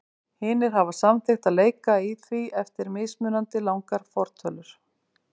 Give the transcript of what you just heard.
Hinir hafa samþykkt að leika í því eftir mismunandi langar fortölur.